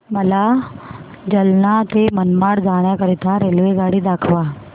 मला जालना ते मनमाड जाण्याकरीता रेल्वेगाडी दाखवा